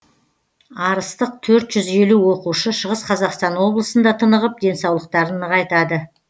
арыстық төрт жүз елу оқушы шығыс қазақстан облысында тынығып денсаулықтарын нығайтады